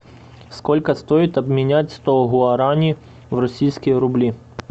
сколько стоит обменять сто гуарани в российские рубли